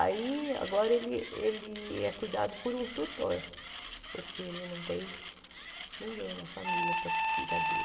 Aí, agora ele ele é cuidado por um tutor, porque ele não tem ninguém na família para cuidar dele.